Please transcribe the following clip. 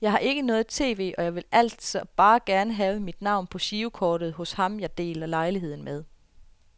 Jeg har ikke noget tv, og jeg ville altså bare gerne have mit navn på girokortet hos ham jeg deler lejlighed med.